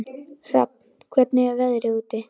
Hrafn, hvernig er veðrið úti?